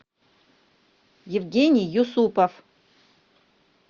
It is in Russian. евгений юсупов